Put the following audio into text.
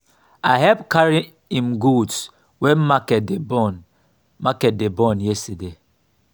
i help carry im goods wen market dey burn market dey burn yesterday.